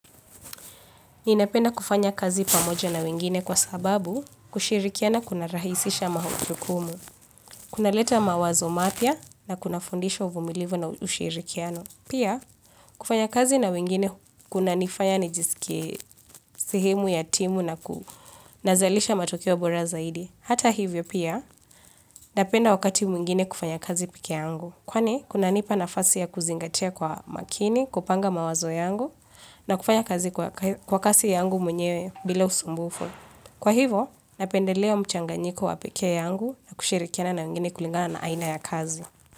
Ninapenda kufanya kazi pamoja na wengine kwa sababu kushirikiana kuna rahisisha majukumu kunaleta mawazo mapya na kunafundisha uvumilivu na ushirikiano. Pia kufanya kazi na wengine kunanifanya nijisikie sehemu ya timu na kunazalisha matokeo bora zaidi. Hata hivyo pia napenda wakati mwingine kufanya kazi pekeyangu. Kwani kuna nipa nafasi ya kuzingatia kwa makini kupanga mawazo yangu na kufanya kazi kwa kasi yangu mwenyewe bila usumbufu. Kwa hivo napendelea mchanganyiko wa pekee yangu na kushirikiana na wengine kulingana na aina ya kazi.